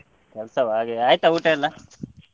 ಕೆಲ್ಸವಾ ಹಾಗೆಯಾ ಆಯ್ತಾ ಊಟ ಎಲ್ಲ?